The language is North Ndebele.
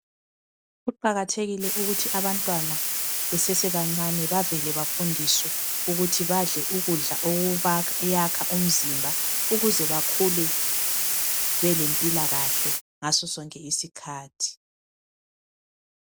Kuqakathekile ukuthi abantwana besesebancane bavele bafundiswe ukuthi badle ukudla okubayakha umzimba ukuze bakhule belempilakahle ngaso sonke isikhathi.